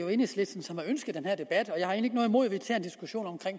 er enhedslisten som har ønsket den her debat jeg har egentlig ikke noget imod at vi tager en diskussion om